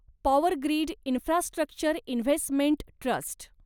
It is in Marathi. power grid infrastructure investment trust